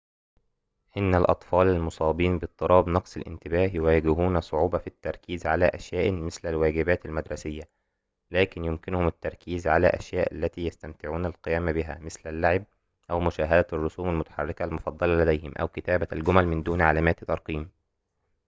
إن الأطفال المصابين باضطراب نقص الانتباه يواجهون صعوبةً في التركيز على أشياءٍ مثل الواجبات المدرسية لكن يمكنهم التركيز على الأشياء التي يستمتعون القيام بها مثل اللعب أو مشاهدة الرسوم المتحركة المفضلة لديهم أو كتابة الجمل من دون علامات ترقيم